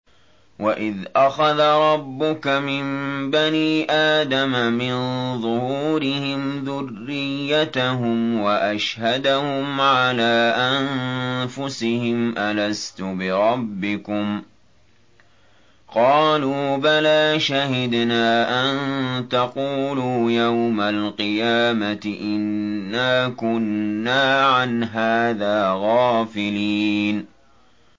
وَإِذْ أَخَذَ رَبُّكَ مِن بَنِي آدَمَ مِن ظُهُورِهِمْ ذُرِّيَّتَهُمْ وَأَشْهَدَهُمْ عَلَىٰ أَنفُسِهِمْ أَلَسْتُ بِرَبِّكُمْ ۖ قَالُوا بَلَىٰ ۛ شَهِدْنَا ۛ أَن تَقُولُوا يَوْمَ الْقِيَامَةِ إِنَّا كُنَّا عَنْ هَٰذَا غَافِلِينَ